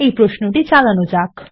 এই প্রশ্নটি চালানো যাক